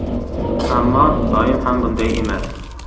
Ammo doim ham bunday emas.